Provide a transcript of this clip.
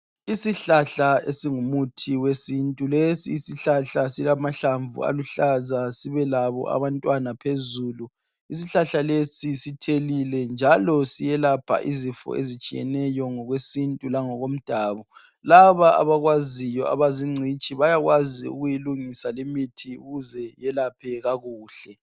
Isihlahla esingumuthi wesintu, lesi isihlahla silamahlamvu aluhlaza sibelabo abantwana phezulu. Isihlahla lesi sithelile njalo siyelapha izifo ezitshiyeneyo ngokwesintu langokomdabu. Laba abakwaziyo abazingcitshi bayakwazi ukuyilungisa limithi ukuze yelaphe kakuhle